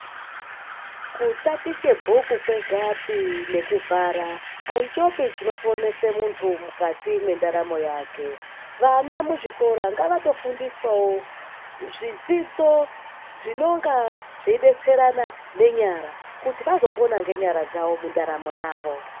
Kutatiche bhuku kwegapi nekubhara, aichopi chinoponese muntu mukati mwendaramo yake. Vana muzvikora ngavatofundiswawo, zvidzidzo zvinonga zveidetserana nenyara, kuti vazopona ngenyara dzavo mundaramo yavo.